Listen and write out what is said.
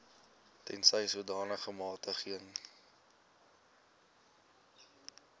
tensy sodanige magtiging